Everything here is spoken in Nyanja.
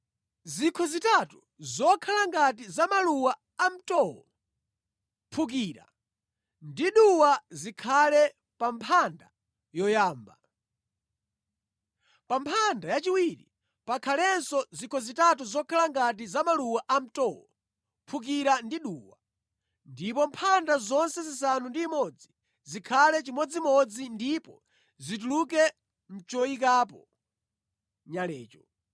Zikho zitatu zokhala ngati za maluwa amtowo, mphukira ndi duwa zikhale pa mphanda yoyamba. Pa mphanda yachiwiri pakhalenso zikho zitatu zokhala ngati za maluwa amtowo, mphukira ndi duwa. Ndipo mphanda zonse zisanu ndi imodzi zikhale chimodzimodzi ndipo zituluke mʼchoyikapo nyalecho.